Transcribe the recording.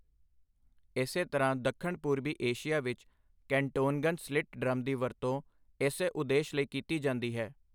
ਇਸੇ ਤਰ੍ਹਾਂ ਦੱਖਣ ਪੂਰਬੀ ਏਸ਼ੀਆ ਵਿੱਚ, ਕੈਨਟੋਂਗਨ ਸਲਿਟ ਡਰੱਮ ਦੀ ਵਰਤੋਂ ਇਸੇ ਉਦੇਸ਼ ਲਈ ਕੀਤੀ ਜਾਂਦੀ ਹੈ।